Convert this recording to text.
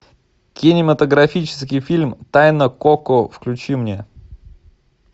кинематографический фильм тайна коко включи мне